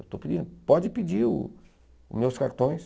Eu estou pedindo, pode pedir os meus cartões.